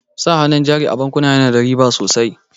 Sa hannun jari a bankuna yana da riba sosai.